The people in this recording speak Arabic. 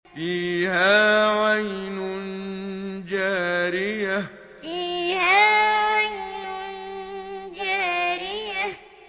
فِيهَا عَيْنٌ جَارِيَةٌ فِيهَا عَيْنٌ جَارِيَةٌ